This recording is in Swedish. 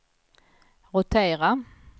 rotera